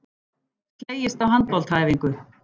Slegist á handboltaæfingu